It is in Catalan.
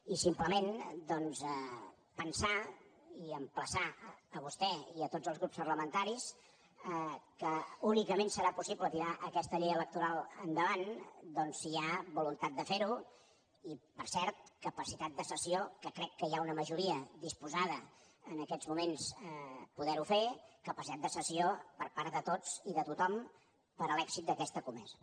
i simplement doncs pensar i emplaçar a vostè i a tots els grups parlamentaris que únicament serà possible tirar aquesta llei electoral endavant si hi ha voluntat de fer ho i per cert capacitat de cessió que crec que hi ha una majoria disposada en aquests moments a poder ho fer capacitat de cessió per part de tots i de tothom per a l’èxit d’aquesta comesa